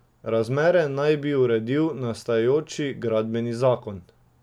Razmere naj bi uredil nastajajoči gradbeni zakon.